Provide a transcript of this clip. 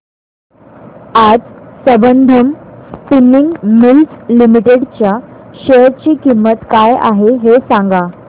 आज Sambandham spinning mills limited च्या share ची किंमत काय आहे हे सांगा